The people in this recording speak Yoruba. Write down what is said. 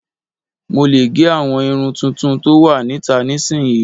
Mo lè gẹ àwọn irun tuntun tó wà níta nísinyi